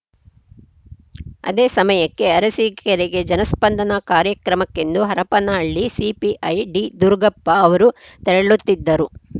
ಅದೇ ಸಮಯಕ್ಕೆ ಅರಸಿಕೇರಿಗೆ ಜನಸ್ಪಂದನಾ ಕಾರ್ಯಕ್ರಮಕ್ಕೆಂದು ಹರಪನಹಳ್ಳಿ ಸಿಪಿಐ ಡಿದುರುಗಪ್ಪ ಅವರು ತೆರಳುತ್ತಿದ್ದರು